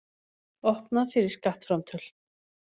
Opnað fyrir skattframtöl